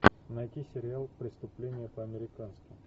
найти сериал преступление по американски